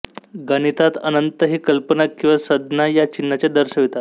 गणितात अनंत ही कल्पना किंवा संज्ञा या चिन्हाने दर्शवितात